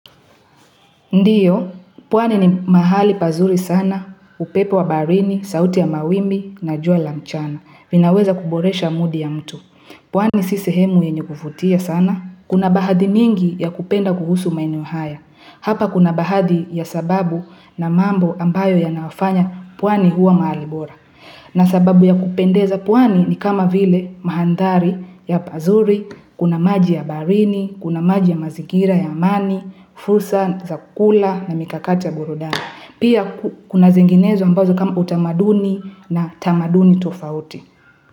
Ndio, pwani ni mahali pazuri sana, upepo wa barini, sauti wa mawimbi, na jua la mchana, vinaweza kuboresha mudi ya mtu. Pwani si sihemu yenye kuvutia sana. Kuna bahadi nyingi ya kupenda kuhusu maeneo haya. Hapa kuna baadhi ya sababu na mambo ambayo yanafanya pwani huwa mahali bora. Na sababu ya kupendeza pwani ni kama vile maandari ya pazuri, Kuna maji ya baharini, kuna maji ya mazingira ya amani, fursa za kula na mikakata burudani. Pia kuna zenginezo ambazo kama utamaduni na tamaduni tofauti.